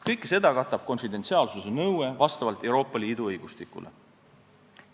Kõike seda katab vastavalt Euroopa Liidu õigustikule konfidentsiaalsuse nõue.